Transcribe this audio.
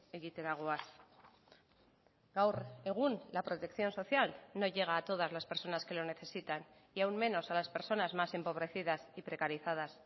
egitera goaz gaur egun la protección social no llega a todas las personas que lo necesitan y aún menos a las personas más empobrecidas y precarizadas